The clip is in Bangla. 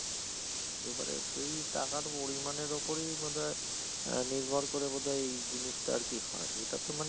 এবারে সেই টাকার পরিমানের উপরেই বোধায় আহ নির্ভর করে বোধহয় জিনিসটা আর কি হয় এটা তো মানে